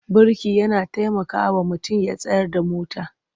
Birki yana tamakawa mutum ya tsayar da mota.